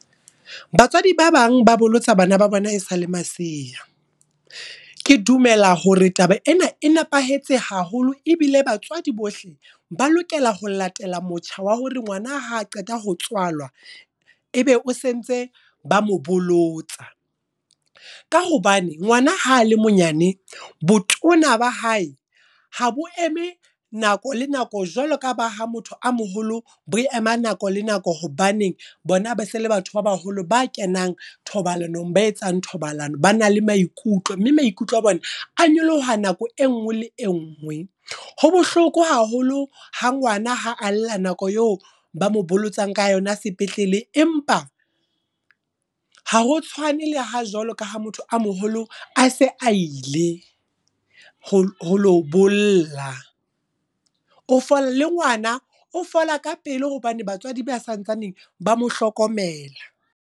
Batswadi ba bang ba bolotsa bana ba bona e sale masea. Ke dumela hore taba ena e nepahetse haholo, ebile batswadi bohle ba lokela ho latela motjha wa hore ngwana ha qeta ho tswalwa, ebe o sentse ba mobolotsa. Ka hobane ngwana ha le monyane, botona ba hae ha bo eme nako le nako jwalo ka ba ha motho a moholo bo ema nako le nako. Hobaneng bona ba se le batho ba baholo ba kenang thobalanong. Ba etsang thobalano, ba na le maikutlo. Mme maikutlo a bona, a nyoloha nako e nngwe le e nngwe. Ho bohloko haholo ha ngwana ha a lla nako eo ba mo bolotsang ka yona sepetlele, empa ha ho tshwane le ha jwalo kaha motho a moholo a se a ile ho lo bolla. Le ngwana, o fola ka pele hobane batswadi ba santsaneng ba mohlokomela.